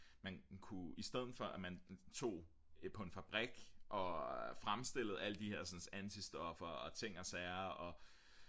man kunne i stedet for at man tog på en fabrik og fremstillede alle de her antistoffer og ting og sager og